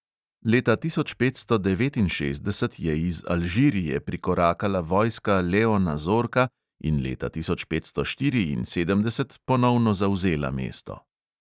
Leta tisoč petsto devetinšestdeset je iz alžirije prikorakala vojska leona zorka in leta tisoč petsto štiriinsedemdeset ponovno zavzela mesto.